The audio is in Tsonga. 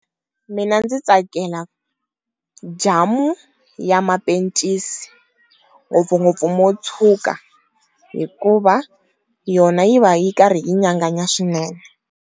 Mina ndzi tsakela jamu ya mapencisi ngopfungopfu mo tshuka hikuva yona yi va yi karhi yi nyanganya swinene.